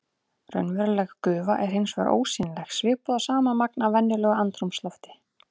Raunveruleg gufa er hins vegar ósýnileg svipað og sama magn af venjulegu andrúmslofti.